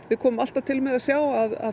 við komum alltaf til með að sjá að